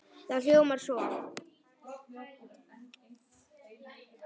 Það hljómar svo